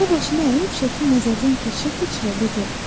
O başına əyib şəkli nəzərdən keçirə-keçirə dedi.